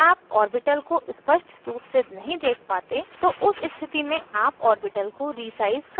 यदि आप orbital को स्पष्ट रूप से नहीं देख पाते तो उस स्थिति में आप orbital को resize कर सकते हैं